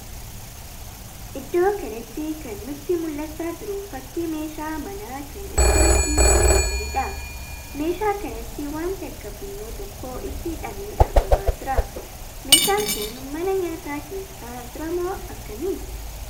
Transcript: Iddoo kanatti kan nutti mul'achaa jiru fakkii meeshaa manaa kan ittoo ittin qopheessaniidha. Meeshaa kanatti waanti akka funyoo tokkoo itti hidhamee argamaa jira. Meeshaan kun mana nyaataa keessa jiramoo akkamii?